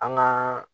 An gaa